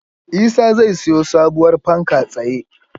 Isa zai siyo sabuwar fanka tsaye